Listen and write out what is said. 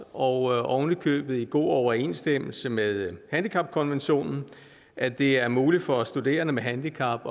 og ovenikøbet i god overensstemmelse med handicapkonventionen at det er muligt for studerende med handicap